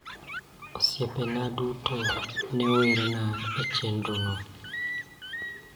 Osiepena duto ne werna e chenro no.